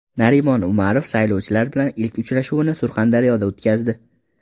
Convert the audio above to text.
Narimon Umarov saylovchilar bilan ilk uchrashuvini Surxondaryoda o‘tkazdi.